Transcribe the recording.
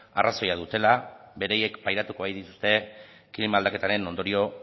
arrazoia dutela beraiek pairatuko baitituzte klima aldaketaren ondorio